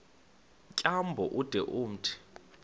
tyambo ude umthi